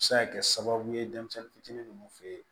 Se ka kɛ sababu ye denmisɛnnin fitinin ninnu fe yen